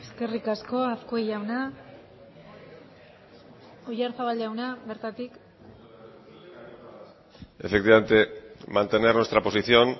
eskerrik asko azkue jauna oyarzabal jauna bertatik efectivamente mantener nuestra posición